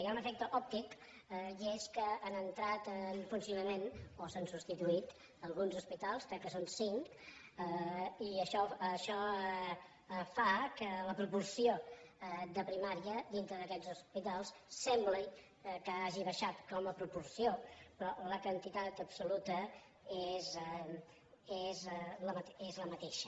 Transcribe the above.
hi ha un efecte òptic i és que han entrat en funcionament o s’han substituït alguns hospitals crec que són cinc i això fa que la proporció de primària dintre d’aquests hospitals sembli que hagi baixat com a proporció però la quantitat absoluta és la mateixa